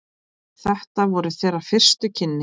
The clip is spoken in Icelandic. Þetta voru þeirra fyrstu kynni.